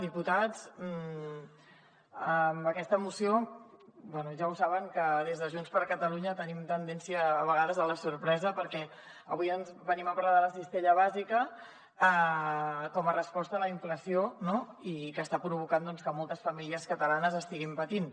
diputats amb aquesta moció bé ja ho saben que des de junts per catalunya tenim tendència a vegades a la sorpresa perquè avui venim a parlar de la cistella bàsica com a resposta a la inflació no que està provocant que moltes famílies catalanes estiguin patint